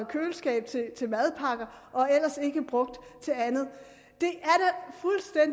køleskab til madpakker og ellers ikke brugt til andet